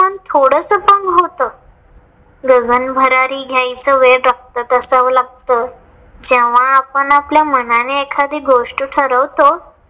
पण थोडंस पण होत. गगन भरारी घायचं वेड असाच असाव लागत. जेंव्हा आपण आपल्या मनाने एखादी गोष्ट ठरवतो.